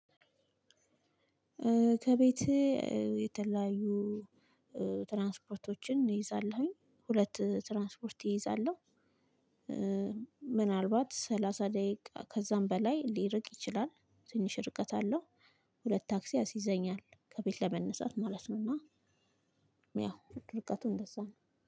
ከቤቴ የተለያዩ ትራንስፖርቶችን እይዛለሁኝ ሁለት ትራንስፖርት እይዛለሁ። ምናልባት ሰላሳ ደቂቃ ከዛም በላይ ሊርቅ ይችላል። ትንሽ ርቀት አለው። ሁለት ታክሲ ያስይዘኛል ከቤት ለመነሳት ማለት ነው። እና ያው ርቀቱ እንደዛ ነው